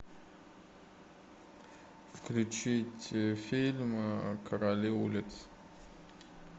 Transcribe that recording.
включить фильм короли улиц